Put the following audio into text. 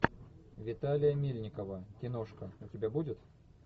виталия мельникова киношка у тебя будет